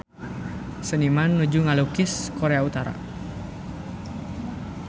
Seniman nuju ngalukis Korea Utara